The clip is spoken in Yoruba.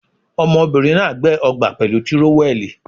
Ọmọbìnrin ná$à gbẹ́ ọgbà pẹ̀lú tírówẹ́ẹ̀lì.